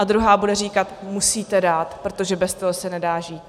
A druhá bude říkat: Musíte dát, protože bez toho se nedá žít.